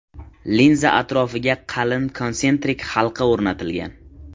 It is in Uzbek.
Linza atrofiga qalin konsentrik halqa o‘rnatilgan.